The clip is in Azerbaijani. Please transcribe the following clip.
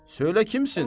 Söylə kimsən?